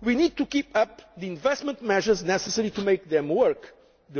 We need to keep up the investment measures necessary to make the